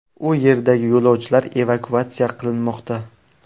U yerdagi yo‘lovchilar evakuatsiya qilinmoqda.